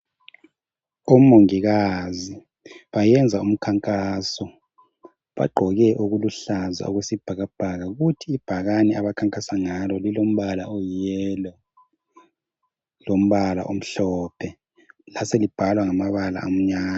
omongikazi bayenza ukhankaso bagqoke okuluhlaza okwesibhakabhaka kuthi ibhakane abakhankasa ngalo lilombala oyi yellow lombala omhlophe laselibhalwa ngamabala amnyama